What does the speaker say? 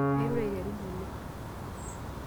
Airure aiteru ng'ole.